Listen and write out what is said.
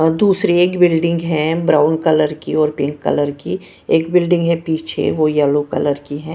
व दूसरी एक बिल्डिंग है ब्राउन कलर की और पिंक कलर की एक बिल्डिंग है पीछे वो येलो कलर की है।